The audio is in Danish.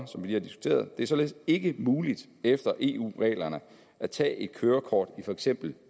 som vi har diskuteret det er således ikke muligt efter eu reglerne at tage et kørekort i for eksempel